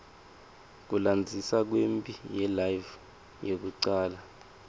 kulandzisa kwemphi yelive yekucala